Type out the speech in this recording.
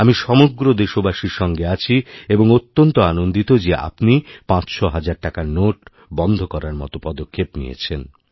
আমি সমগ্রদেশবাসীর সঙ্গে আছি এবং অত্যন্ত আনন্দিত যে আপনি পাঁচশোহাজার টাকার নোট বন্ধ করারমতো পদক্ষেপ নিয়েছেন